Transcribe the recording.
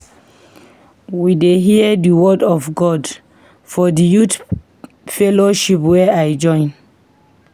We dey hear di word of God for di youth fellowship wey I join.